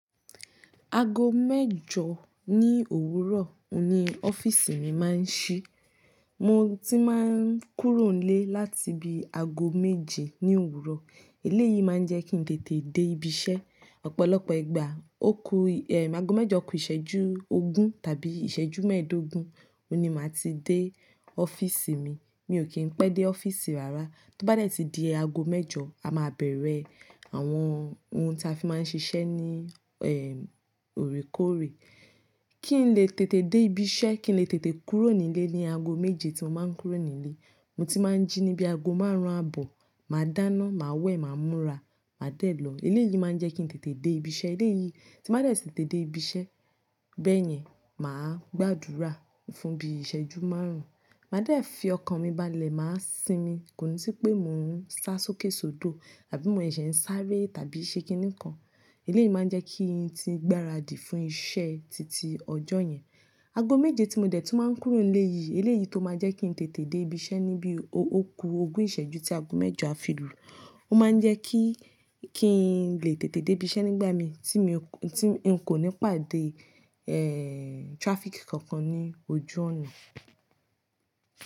Aago mẹ́jọ ní òwúrọ̀ ni ọ́fíìsì mi máa ń ṣí. Mo ti máa ń kúrò nílé láti bi aago méje ní òwúrọ̀. Eléyìí máa ń jẹ́ kí n tètè dé ibi iṣẹ́. Ọ̀pọ̀lọpọ̀ ìgbà, ó ku, eh, aago mẹ́jọ kù ìṣẹ́jú ogún tàbí ìṣẹ́jú mẹ́ẹ̀ẹ́dógún, òun ní màá ti dé ọ́fíìsì mi. Mi ò kí ń pẹ́ dé ọ́fíìsì rárá. Tó bá dẹ̀ tí di aago mẹ́jọ, a máa bẹ̀rẹ̀ àwọn ohun tí a fi máa ń ṣiṣẹ́ ní, eh, òrékoore. Kí n lè tètè dé ibi iṣẹ́, kí n lè tètè kúrò nílé ní aago méje tí mo máa ń kúrò nílé. Mo ti máa ń jí níbi aago márùn-ún àbọ̀, màá dáná, màá wẹ̀, màá múra, màá dè ẹ́ lọ. Eléyìí máa ń jẹ́ kí n tètè dé ibi iṣẹ́. Eléyìí tí màá dẹ̀ ti tètè dé ibi iṣẹ́, bẹ́ẹ̀ yẹn, màá gbàdúrà fún bí ìṣẹ́jú márùn-ún. Màá dẹ̀ fi ọkàn mi balẹ̀, màá sinmi, kò ní sí pé mò ń sá sókèsódò àbí mo ṣẹṣẹ̀ ń sáré tàbí ṣe kíni kan. Eléyìí máa ń jẹ́ kí n ti gbára dì fún iṣẹ́ titi ọjọ́ yẹn. Aago méje tí mo dẹ̀ tún máa ń kúrò nílé yìí, eléyìí tó máa jẹ́ kí n tètè dé ibi iṣẹ́ ní bí ó ku ogún ìṣẹ́jú tí aago mẹ́jọ á fi lu. Ó máa ń jẹ́ kí, kí n lè tètè dé ibi iṣẹ́ nígbà mí tí mi, tí n kò ní pàdé, eh, traffic kankan ní ojú ọnà.